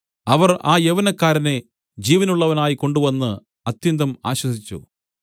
അവർ ആ യൗവനക്കാരനെ ജീവനുള്ളവനായി കൊണ്ടുവന്ന് അത്യന്തം ആശ്വസിച്ചു